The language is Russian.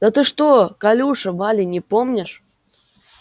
да ты что колюша вали не помнишь